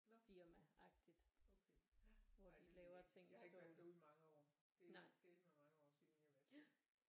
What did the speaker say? Nå okay jeg har ikke været derude i mange år det er dælme mange år siden jeg har været derude